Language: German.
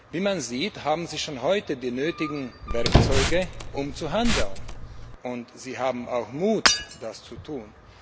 Wie man sieht, haben Sie schon heute die nötigen Werkzeuge, um zu handeln, und Sie haben auch Mut, das zu tun.